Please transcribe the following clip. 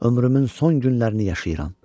Ömrümün son günlərini yaşayıram.